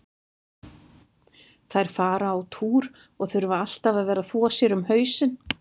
Þær fara á túr og þurfa alltaf að vera að þvo sér um hausinn.